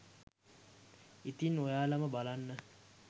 ඉතින් ඔයාලම බලන්න